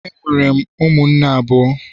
Enwere m ụmụnne abụọ